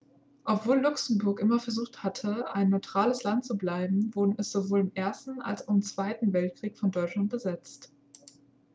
obwohl luxemburg immer versucht hatte ein neutrales land zu bleiben wurde es sowohl im ersten als auch im zweiten weltkrieg von deutschland besetzt